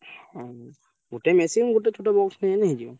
ହଁ ଗୋଟେ machine ଗୋଟେ ଛୋଟ box ନେଇଆଇଁଲେ ହେଇଯିବ।